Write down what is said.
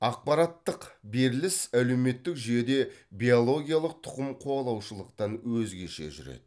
ақпараттық беріліс әлеуметтік жүйеде биологиялық тұқым қуалаушылықтан өзгеше жүреді